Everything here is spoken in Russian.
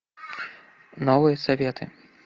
новые советы